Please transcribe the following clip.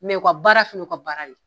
u ka baara fɛnɛ y'u ka baara de ye.